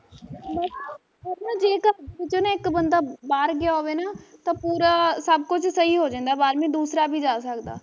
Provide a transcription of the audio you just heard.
ਬਸ ਜੇ ਘਰ ਵਿੱਚੋਂ ਨਾ ਇੱਕ ਬੰਦਾ ਬਾਹਰ ਗਿਆ ਹੋਵੇ ਨਾ, ਤਾਂ ਪੂਰਾ ਸਬ ਕੁਜ ਸਹੀ ਹੋ ਜਾਂਦਾ ਬਾਅਦ ਮੇ ਦੂਸਰਾ ਵੀ ਜਾ ਸਕਦਾ